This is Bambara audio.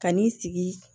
Kan'i sigi